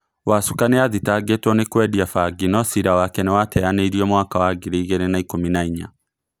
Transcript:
Wacuka niathitangĩtwo nĩ kwendia bangi no cira wake niwateyanĩirio mwaka wa ngiri igirĩ na ikũmi na inya